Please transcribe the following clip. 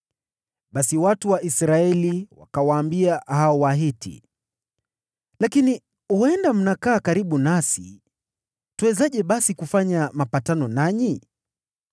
Basi watu wa Israeli wakawaambia hao Wahivi, “Lakini huenda mnakaa karibu nasi, twawezaje basi kufanya mapatano nanyi?”